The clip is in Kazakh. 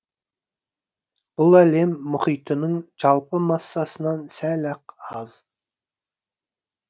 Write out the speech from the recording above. бұл әлем мұхитының жалпы массасынан сәл ақ аз